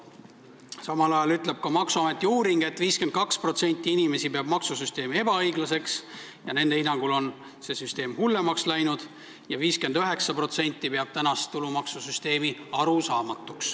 Samal ajal ütleb maksuameti uuring, et 52% inimesi peab maksusüsteemi ebaõiglaseks – nende hinnangul on see hullemaks läinud – ja 59% peab arusaamatuks tänast tulumaksusüsteemi.